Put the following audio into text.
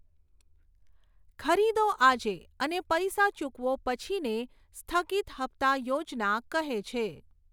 ખરીદો આજે અને પૈસા ચૂકવો પછીને સ્થગિત હપ્તા યોજના કહે છે.